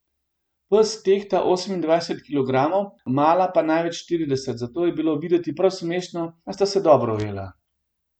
Pes tehta osemindvajset kilogramov, mala pa največ štirideset, zato je bilo videti prav smešno, a sta se dobro ujela.